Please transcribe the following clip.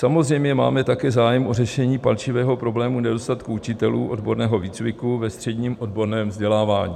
Samozřejmě, máme také zájem o řešení palčivého problému nedostatku učitelů odborného výcviku ve středním odborném vzdělávání.